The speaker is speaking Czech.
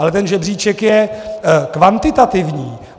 Ale ten žebříček je kvantitativní.